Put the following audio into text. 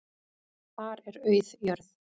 Þar er auð jörð.